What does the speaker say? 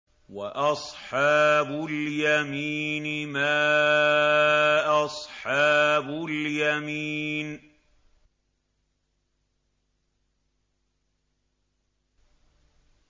وَأَصْحَابُ الْيَمِينِ مَا أَصْحَابُ الْيَمِينِ